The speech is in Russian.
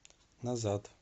назад